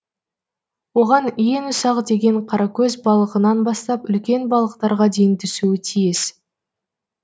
оған ең ұсақ деген қаракөз балығынан бастап үлкен балықтарға дейін түсуі тиіс